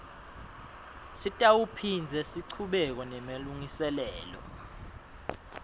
sitawuphindze sichubeke nemalungiselelo